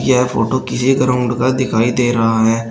यह फोटो किसी ग्राउंड का दिखाई दे रहा है।